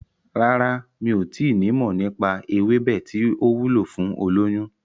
Rárá, mi ò tí nimọ̀ nípa ewébẹ̀ tí ó wúlò fún olóyún.